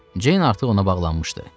Ceyin artıq ona bağlanmışdı.